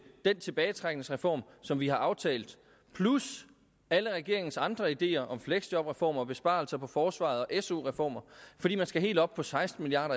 den tilbagetrækningsreform som vi har aftalt plus alle regeringens andre ideer om fleksjobreformer besparelser på forsvaret og su reformer fordi man skal helt op på seksten milliard